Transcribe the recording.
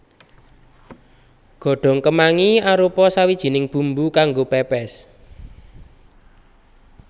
Godhong kemangi arupa sawijining bumbu kanggo pèpès